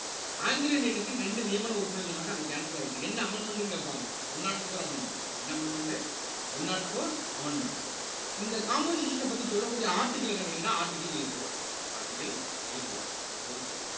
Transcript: Anglo இந்தியனுக்கு ரெண்டு நியமன உறுப்பினர்கள் சொன்னாங்க அது cancel ஆயிட்டு என் amendment ன்னு கேட்பாங்க one nought four amendment என்ன amendment உ one nought four amendment இந்த composition அ பத்தி சொல்லக்கூடிய article என்னன்னு கேட்டீங்கன்னா articleATOarticleATO சரி okay